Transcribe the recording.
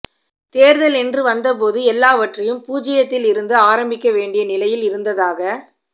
தேர்தல் என்று வந்தபோது எல்லாவற்றையும் பூச்சியத்தியத்தில் இருந்து ஆரம்பிக்க வேண்டிய நிலையில் இருந்ததாக